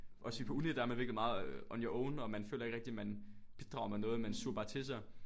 Også fordi på uni der er man virkelig meget on your own og man føler ikke rigtig man bidrager med noget man suger bare til sig